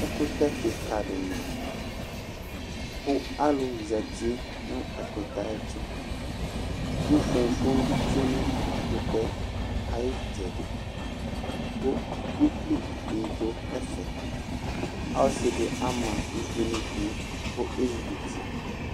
ɛkutɛ kika di ma, ku alulu zati nu ɛkutɛ ayɛtu, ku foŋfoŋm bi tsʋe nu ɛkutɛ ayu itsɛdi, ku ukpi bi du ɛfɛ, ɔsi di ama uvi nu idu ku esikuti